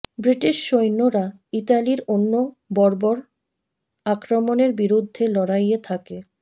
British সৈন্যরা ইতালির অন্য বর্বর আক্রমণের বিরুদ্ধে লড়াইয়ে থাকে